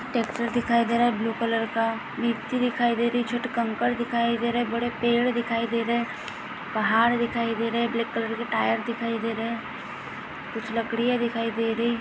Tractor दिखाई दे रहा है ब्लू कलर का मिट्टी दिखाई दे रही है छोटे कंकड़ दिखाई दे रहे है बड़े पेड दिखाई दे रहे है पहाड़ दिखाई दे रहे है ब्लैक कलर के टायर दिखाई दे रहे है कुछ लकड़िया दिखाई दे रही है।